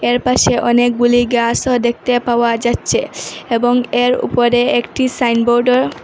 এর পাশে অনেকগুলি গ্যাসও দেখতে পাওয়া যাচ্ছে এবং এর উপরে একটি সাইনবোর্ডও--